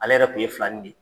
Ale yɛrɛ kun ye filanin de ye.